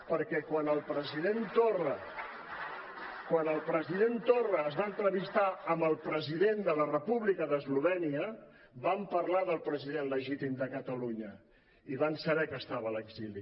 perquè quan el president torra es va entrevistar amb el president de la república d’eslovènia van parlar del president legítim de catalunya i van saber que estava a l’exili